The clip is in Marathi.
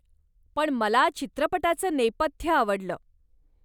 पण मला चित्रपटाचं नेपथ्य आवडलं.